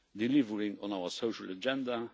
delivering on our social agenda